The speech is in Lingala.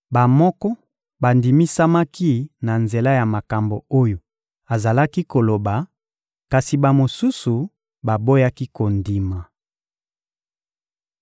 Bamoko bandimisamaki na nzela ya makambo oyo azalaki koloba, kasi bamosusu baboyaki kondima.